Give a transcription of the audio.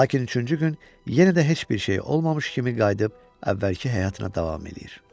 Lakin üçüncü gün yenə də heç bir şeyi olmamış kimi qayıdıb əvvəlki həyatına davam eləyir.